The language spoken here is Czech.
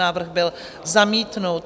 Návrh byl zamítnut.